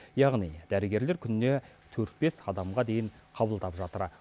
яғни дәрігерлер күніне төрт бес адамға дейін қабылдап жатыр